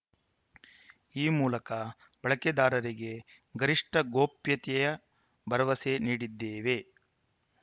ಈ ಮೂಲಕ ಬಳಕೆದಾರರಿಗೆ ಗರಿಷ್ಠ ಗೋಪ್ಯತೆಯ ಭರವಸೆ ನೀಡಿದ್ದೇವೆ